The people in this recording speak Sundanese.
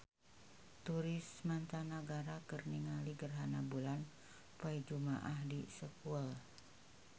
Turis mancanagara keur ningali gerhana bulan poe Jumaah di Seoul